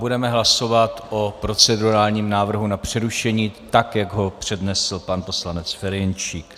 Budeme hlasovat o procedurálním návrhu na přerušení, tak jak ho přednesl pan poslanec Ferjenčík.